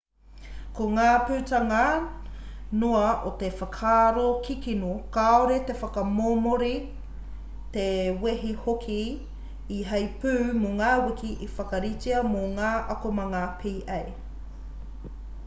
ko ngā putanga noa o te whakaaro kikino kāore te whakamomori te wehi hoki i heipū mō ngā wiki i whakaritea mō ngā akomanga pa